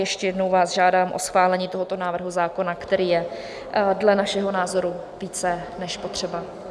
Ještě jednou vás žádám o schválení tohoto návrhu zákona, který je dle našeho názoru více než potřeba.